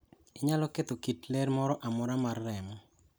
Onyalo ketho kit ler moro amora mar remo.